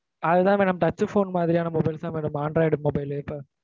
அது தான் madam touch phone மாதிரியான mobiles தான் madam android mobile லு இப்ப,